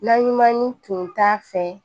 Na ɲuman tun t'a fɛ